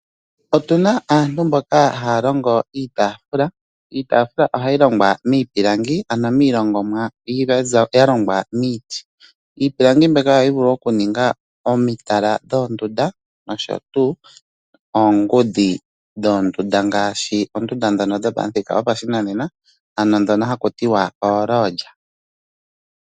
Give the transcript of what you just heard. Otu na aantu mboka haya longo iitafula. Iitafula ohayi longwa miipilangi ano miilongomwa ya longwa miiti. Iipilangi mbyoka ohayi vulu okuninga omitala dhoondunda nosho tuu oongudhi dhoondunda ngaashi oondunda ndhono dhopamuthika gopashinanena ano ndhono ha ku tiwa ooLodge.